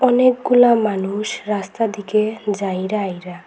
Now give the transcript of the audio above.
অনেকগুলা মানুষ রাস্তা দিকে যাইরা আইরা।